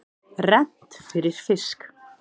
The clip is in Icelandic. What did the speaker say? Rennt fyrir fisk.